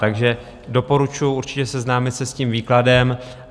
Takže doporučuji určitě seznámit se s tím výkladem.